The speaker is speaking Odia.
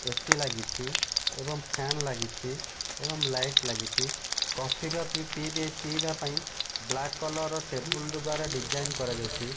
ଏ_ସି ଲାଗିଚି ଏବଂ ଫ୍ୟାନ ଲାଗିଚି ଏବଂ ଲାଇଟ ଲାଗିଚି। କଫି ଫପି ପିଇବେ ପିଇବା ପାଇଁ ବ୍ଲାକ କଲର ର ଟେବୁଲ ଦ୍ଵାରା ଡିଜାଇନ କରାଯାଇଚି।